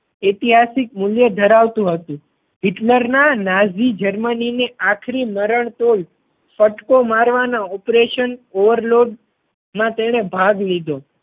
ઐતિહાસિક મૂલ્ય ધરાવતું હતું. હિટલર ના નાઝી જર્મની ને આખરી મરણતોલ ફટકો મારવાના operation overload માં તેણે ભાગ લીધો